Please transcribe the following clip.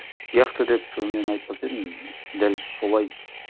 сияқты деп мен айтпас едім дәл солай